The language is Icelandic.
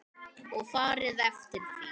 Og farið eftir því.